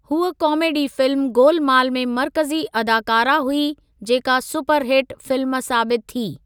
हूअ comedy film Golmaal में मर्कज़ी अदाकारह हुई जेका सुपर हिट फिल्म साबितु थी।